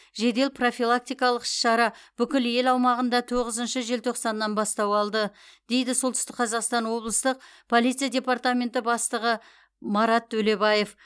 жедел профилактикалық іс шара бүкіл ел аумағында тоғызыншы желтоқсаннан бастау алды дейді солтүстік қазақстан облыстық полиция департаменті бастығы марат төлебаев